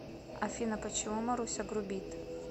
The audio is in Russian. афина почему маруся грубит